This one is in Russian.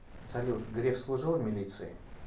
салют греф служил в милиции